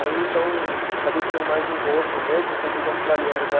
Aí, então, acabei ficando mais no hostel mesmo, porque eu conheci uns australianos lá.